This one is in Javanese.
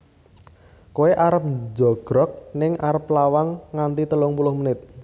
Koe arep njogrog ning arep lawang nganti telung puluh menit